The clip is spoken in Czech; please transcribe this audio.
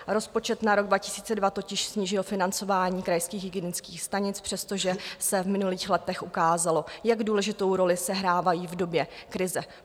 Rozpočet na rok 2022 totiž snížil financování krajských hygienických stanic, přestože se v minulých letech ukázalo, jak důležitou roli sehrávají v době krize.